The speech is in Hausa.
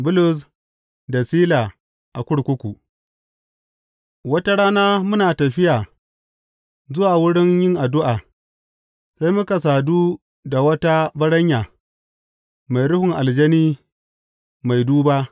Bulus da Sila a kurkuku Wata rana muna tafiya zuwa wurin yin addu’a, sai muka sadu da wata baranya mai ruhun aljani mai duba.